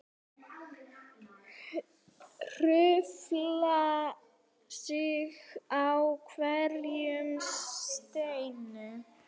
Hrufla sig á hverjum steini.